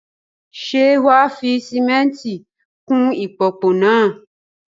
Ṣé wà á fi sìmẹ́ńtì kún ìpòpọ̀ náà?